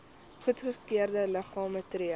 goedgekeurde liggame tree